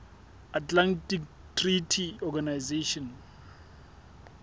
atlantic treaty organization